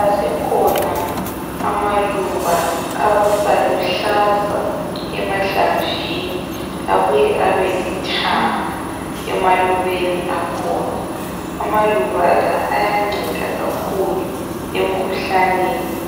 Asekhona amaluba abaluhlaza emahlamvini abuye abe lithanga emalubeni akhona amaluba la ayanceda kakhulu emkhuhlaneni